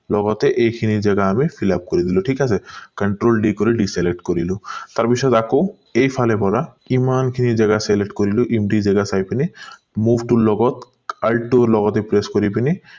লগতে এইখিনি জেগা আমি fill up কৰি দিলো ঠিক আছে control d কৰি deselect কৰিলো তাৰ পিছত আকৌ এই ফালে বগা কিমান খিনি জেগা select কৰিলো empty জেগা চাই পিনে টোৰ লগত r টো লগতে press কৰি পিনি